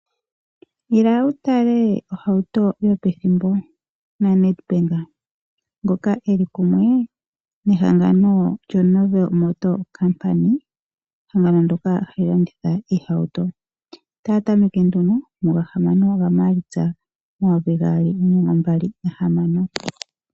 Ila wutale ohauto yopethimbo naNedbank ngoka eli kumwe nehangano lyaNovel Motor, ehangano ndyoka hali landitha iihauto. Otaya tameke nduno muga6 gaMaalitsa 2026.